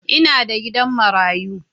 Ina da gidan marayu.